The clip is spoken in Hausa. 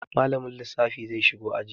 Malamin lissafi zai shigo aji.